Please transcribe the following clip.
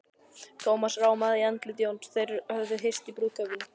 Thomas rámaði í andlit Jóns, þeir höfðu hist í brúðkaupinu.